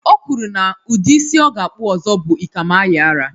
O kwuru na udi isi ọ ga-akpu ọzọ bụ ikamayiara